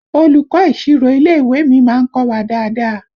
Olùkọ́ ìsirò ilé ìwé mi má ń kọ́ wa dáadáa